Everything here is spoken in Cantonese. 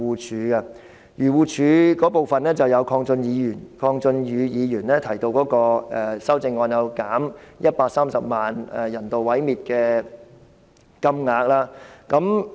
針對漁護署開支的，有鄺俊宇議員提出的修正案，即削減130萬元人道毀滅動物的開支。